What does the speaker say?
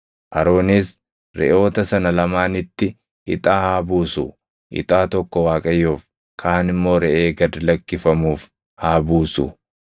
Aroonis reʼoota sana lamaanitti ixaa haa buusu; ixaa tokko Waaqayyoof, kaan immoo reʼee gad lakkifamuuf haa buusu.